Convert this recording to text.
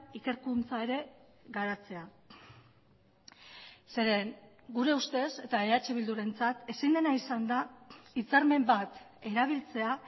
ikerkuntza ere garatzea zeren gure ustez eta eh bildurentzat ezin dena izan da hitzarmen bat erabiltzea